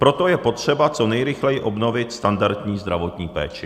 Proto je potřeba co nejrychleji obnovit standardní zdravotní péči.